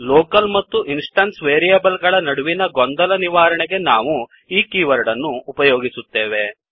local ಮತ್ತು instance variable ಗಳ ನಡುವಿನ ಗೊಂದಲದ ನಿವಾರಣೆಗೆ ನಾವು ಈ ಕೀವರ್ಡ್ ಅನ್ನು ಉಪಯೋಗಿಸುತ್ತೇವೆ